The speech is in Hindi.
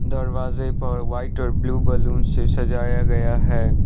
दरवाजे पर व्हाइट और ब्लू बलून से सजाया गया है।